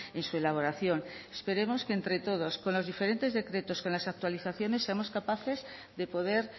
en su elaboración esperemos que entre todos con los diferentes decretos con las actualizaciones seamos capaces de poder